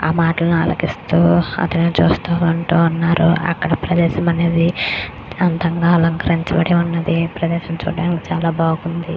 ఆ మాటలు ఆలకిస్తూ చూస్తూ ఉన్నారు. అక్కడ ప్రదేశం అనేది అందంగా అలంకరించబడింది ప్రదేశం చూడడానికి చాలా బాగుంది.